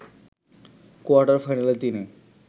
quarter ফাইনালে তিনি